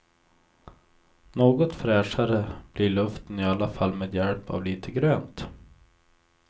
Något fräschare blir luften i alla fall med hjälp av lite grönt.